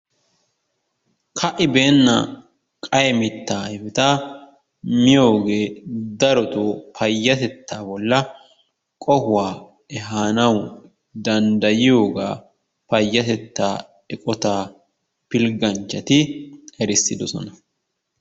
Ka'ibeena qayye mitta ayfeta miyoogee darotoo payyatettaa bolla qohuwa ehanawu danddayiyogaa payatettaa eqotaa pilgganchchati erissidosona.